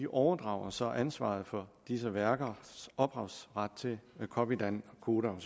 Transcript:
overdrager så ansvaret for disse værkers ophavsret til copydan koda